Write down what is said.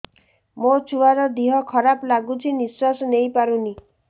ମୋ ଛୁଆର ଦିହ ଖରାପ ଲାଗୁଚି ନିଃଶ୍ବାସ ନେଇ ପାରୁନି